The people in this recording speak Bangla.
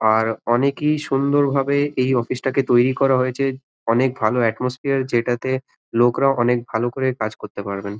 আর অনকই সুন্দর ভাবে এই অফিস টাকে তৈরি করা হয়েছে। অনকে ভালো এটমসস্ফিয়ার যেটাতে লোকরা অনেক ভালো ভাবে কাজ করতে পারবেন।